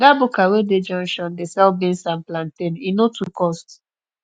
dat buka wey dey junction dey sell beans and plantain e no too cost